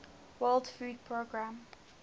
world food programme